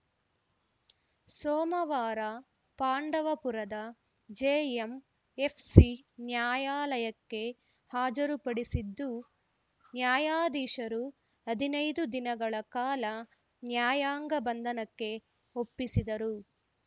ಸೋಮವಾರ ಪಾಂಡವಪುರದ ಜೆಎಂಎಫ್‌ಸಿ ನ್ಯಾಯಾಲಯಕ್ಕೆ ಹಾಜರುಪಡಿಸಿದ್ದು ನ್ಯಾಯಾಧೀಶರು ಹದಿನೈದು ದಿನಗಳ ಕಾಲ ನ್ಯಾಯಾಂಗ ಬಂಧನಕ್ಕೆ ಒಪ್ಪಿಸಿದರು